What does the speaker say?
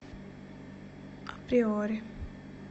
априори